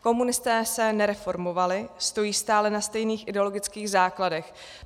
Komunisté se nereformovali, stojí stále na stejných ideologických základech.